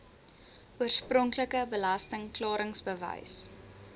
oorspronklike belasting klaringsbewys